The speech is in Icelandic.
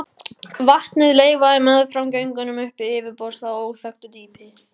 Vatnið leitaði meðfram göngunum upp til yfirborðs af óþekktu dýpi.